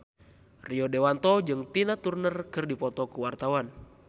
Rio Dewanto jeung Tina Turner keur dipoto ku wartawan